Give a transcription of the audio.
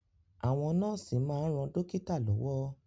Àwọn nọ́ọ̀sì máa ń ran dókítà lọ́wọ́